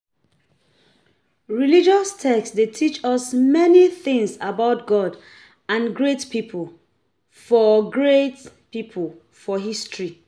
Religious text de teach us many things about God and great pipo for great pipo for history